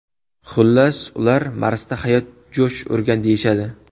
Xullas, ular Marsda hayot jo‘sh urgan deyishadi.